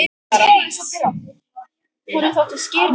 Bría, bókaðu hring í golf á föstudaginn.